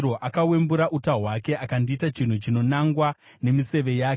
Akawembura uta hwake akandiita chinhu chinonangwa nemiseve yake.